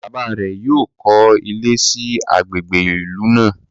bàbá rẹ yóò kọ ilé sí Àgbègbè inú ilu.